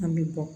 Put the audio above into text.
An bɛ bɔ